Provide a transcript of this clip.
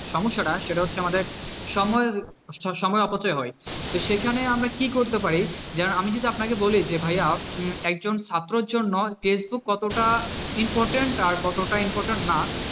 সমস্যাটা সেটা হচ্ছে আমাদের সময়, সময় অপচয় হয় তো সেখানে আমরা কি করতে পারি? আমি যদি আপনাকে বলি যে ভাইয়া উম একজন ছাত্রের জন্য ফেসবুক কতটা important আর কতটা important না,